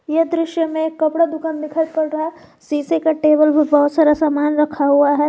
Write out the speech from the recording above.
ये दृश्य में कपड़े का दुकान दिखाई पड़ रहा है शीशे के टेबल पर बहुत सारा सामान रखा हुआ है।